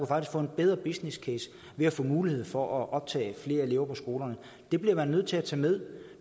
faktisk få en bedre business case ved at få mulighed for at optage flere elever på skolerne det bliver man nødt til at tage med